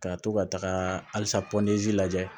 Ka to ka taga halisa lajɛ